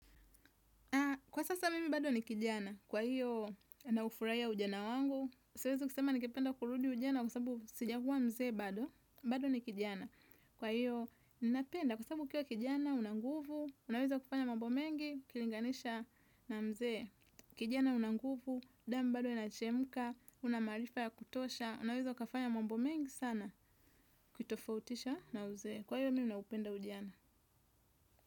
Kwa sasa mimi bado ni kijana, kwa hiyo na ufuraiya ujana wangu. Siwezi kusema ningependa kurudi ujana kwa sababu sijagua mzee bado. Bado ni kijana, kwa hiyo ninapenda kwa sababu kiyo kijana unanguvu. Unaweza kufanya mambo mengi, kilinganisha na mzee. Kijana unanguvu, damu bado inachemuka, unamarifa ya kutosha. Unaweza ukafanya mambo mengi sana, ukitofautisha na uzee. Kwa hiyo mimi naupenda ujana.